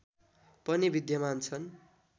पनि विद्यमान छन्